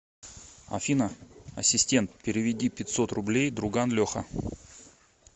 афина ассистент переведи пятьсот рублей друган леха